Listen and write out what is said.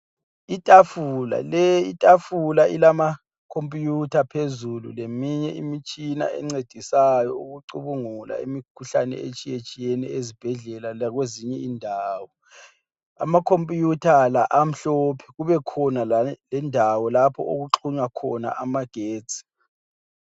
Itafula le itafula ilama khompuyitha phezulu leminye imitshina encedisayo ukucubungula imikhuhlane etshiyetshiyeneyo ezibhedlela lakwezinye indawo. Amakhompiyutha la amhlophe kube khona lendawo lapho okuxhunywa khona amagetsi.